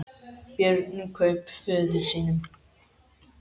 Björn kraup föður sínum.